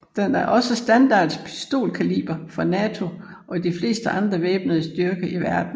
Den er også standard pistolkaliber for NATO og de fleste andre væbnede styrker i verden